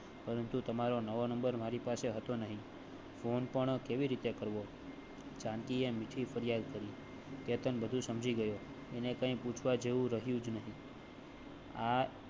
પરંતુ તમારો નવો નંબર મારી પાસે હતો નહીં. phone પણ કેવી રીતે કરવો? જાનકીએ મીઠી મીઠી ફરિયાદ કરી કેતન વધુ સમજી ગયો અને કાંઈ પૂછવા જેવું રહિયું જ નહિ